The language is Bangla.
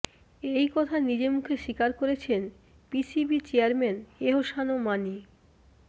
এই কথা নিজে মুখে স্বীকার করেছেন পিসিবি চেয়ারম্যান এহসান মানি